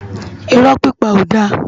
Irò pipá ó dá